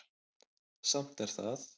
Samt er það